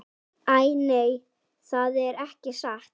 Æ, nei, það er ekki satt.